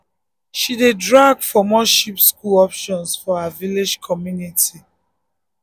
she dey drag for more cheap school optons for her village community.